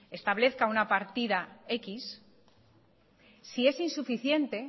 establezca una partida x si es insuficiente